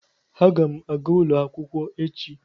Aga m aga ulo akwukwo echi.